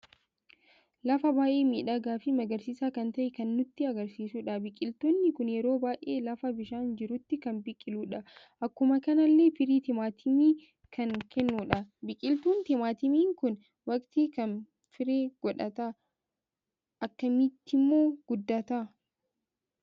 Lafa baay'ee miidhaga fi magarsiisa kan ta'e kan nutti agarsiisuudha. biqiltoonni kun yeroo baay'ee lafa bishaan jirutti kan biqiludha. Akkuma kanallee firii timaatimii kan kennudha. biqiltuun timaatimii kun waqti kan firee godhata? Akkamittimmo guddata?